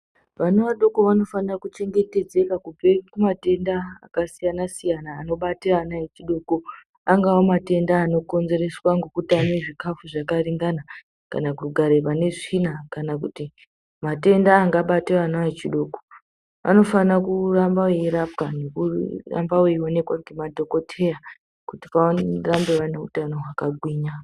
Vana vadoko vanofanira kuchengetedzeka kubvekumatenda akasiyana siyana anobate ana echidoko angava matenda anokonzereswa nekutame zvikafu zvakaringana kana kugara pane tsvina, kana kuti matenda angabata ana echidoko anofana kuramba veirapiwa vorambe veionekwa ngemadhokotera kuti varambe vaine utano hwakagwinya.